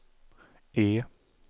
E